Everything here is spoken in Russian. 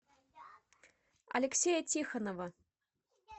алексея тихонова